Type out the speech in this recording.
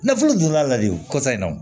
Nafolo jɔyɔrɔ la de o kɔsan in na o